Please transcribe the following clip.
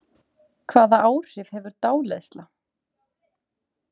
Hvaða áhrif hefur dáleiðsla?